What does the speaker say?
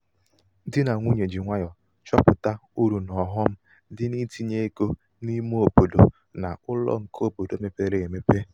dị nà nwunye ji nwayọ chọpuụta uru na ọghọm dị itinye ego n' ímé obodo na ụlọ nke obodo mepere emepe.